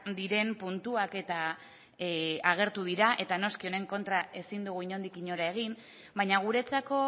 diren puntuak eta agertu dira eta noski honen kontra ezin dugu inondik inora egin baina guretzako